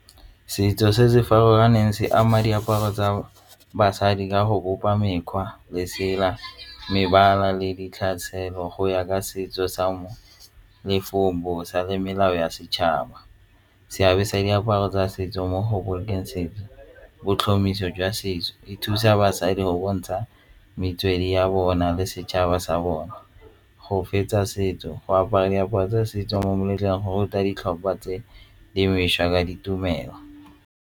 Setso se se farologaneng se ama diaparo tsa basadi ka go bopa mekgwa, lesela, mebala le ditlhare tshelo go ya ka setso sa le for bosa le melao ya setšhaba. Seabe sa diaparo tsa setso mo go bolokeng setso jwa setso e thusa basadi go bontsha metswedi ya bona le setšhaba sa bone. Go fetsa setso, go apara diaparo tsa setso mo meletlong go ruta ditlhopha tse dingwe .